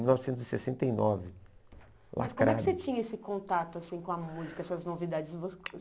mil novecentos e sessenta e nove. Mas como é que você tinha esse contato assim com a música, essas novidades? Você